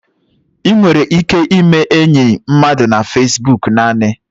Ị nwere ike ime enyi mmadụ na Fesbok naanị.